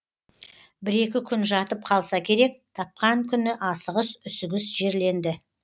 бір екі күн жатып қалса керек тапқан күні асығыс үсігіс жерленді